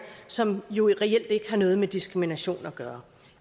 som jo reelt ikke har noget med diskrimination at gøre